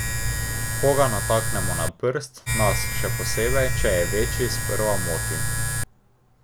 Ko ga nataknemo na prst, nas, še posebej, če je večji, sprva moti.